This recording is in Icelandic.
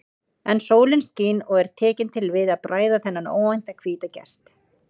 En sólin skín og er tekin til við að bræða þennan óvænta hvíta gest.